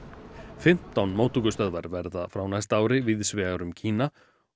fimmtán móttökustöðvar verða frá næsta ári víðs vegar um Kína og